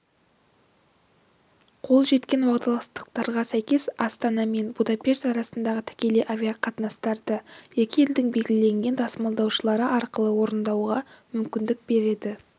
қол жеткен уағдаластықтарға сәйкес астана мен будапешт арасындағы тікелей авиа қатынастарды екі елдің белгіленген тасымалдаушылары арқылы орындауға мүмкіндік береді